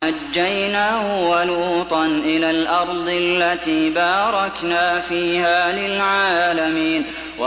وَنَجَّيْنَاهُ وَلُوطًا إِلَى الْأَرْضِ الَّتِي بَارَكْنَا فِيهَا لِلْعَالَمِينَ